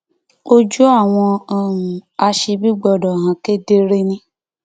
ojú àwọn um aṣebi gbọdọ hàn kedere ni